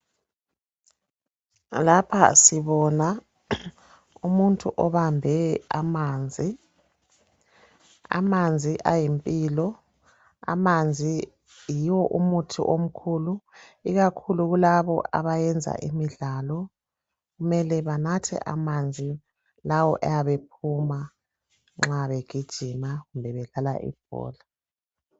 lapha sibona umuntu obambe amanzi amanzi ayimpilo amanzi yiwo umuthi omkhulu ikakhulu kulabo abayenza imdlalo kumele banthe amanzi lawo ayabe ephuma nxa begijima kumbe bedlala ibhola